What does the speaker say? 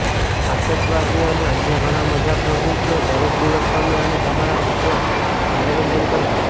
આતશબાજી અને અન્ય ઘણા મજા પ્રવૃત્તિઓ દરેક દિવસ તમે અને તમારા મિત્રો મનોરંજન કરશે